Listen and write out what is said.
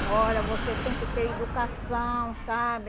Olha, você tem que ter educação, sabe?